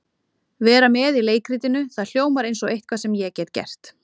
Vera með í leikritinu, það hljómar eins og eitthvað sem ég get gert.